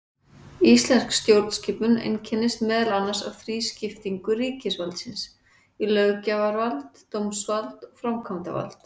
Íslensk stjórnskipun einkennist meðal annars af þrískiptingu ríkisvaldsins í löggjafarvald, dómsvald og framkvæmdavald.